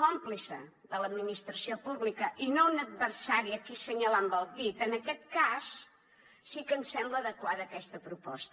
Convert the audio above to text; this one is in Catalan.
còmplice de l’administració pública i no un adversari a qui assenyalar amb el dit en aquest cas sí que ens sembla adequada aquesta proposta